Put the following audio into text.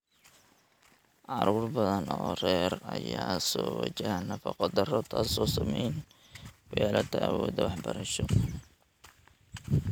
Carruur badan oo rer ayaa soo wajaha nafaqo darro, taasoo saameyn ku yeelata awooddooda waxbarasho.